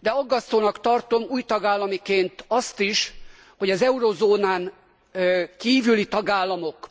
De aggasztónak tartom új tagállamiként azt is, hogy az eurózónán kívüli tagállamok